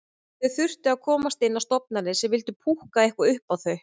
Þau þyrftu að komast inn á stofnanir sem vildu púkka eitthvað upp á þau.